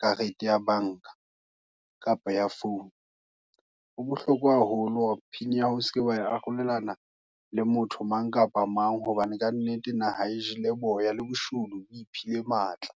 karete ya banka, kapa ya phone, ho bohlokwa haholo, hore pin ya hao, o seke wa arolelana, le motho mang kapa mang. Hobane ka nnete, naha e jele, boya, le boshodu bo iphile matla.